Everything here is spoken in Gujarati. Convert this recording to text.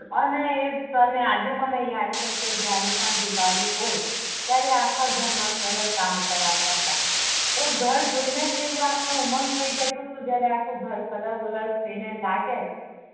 અને એ અમ આજે મને યાદ છે કે જયારે પણ દિવાળી હોય ત્યારે આખા ઘર મા કલર કામ કરાવતા તા ઘર જોઈ ને આવું અપડુ ઉમંગ થઇ જતુ તુ જયારે આખું ઘર કલર-બલર થઇ ને લાગે